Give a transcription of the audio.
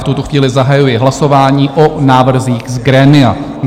V tuto chvíli zahajuji hlasování o návrzích z grémia.